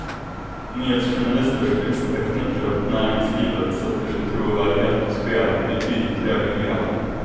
Nyhetsjournalister som extraknäcker åt näringslivet sätter sin trovärdighet på spel i betydligt högre grad.